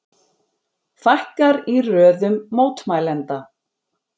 Fækkar í röðum mótmælenda